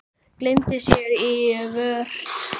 Gleymdi sér í vörn.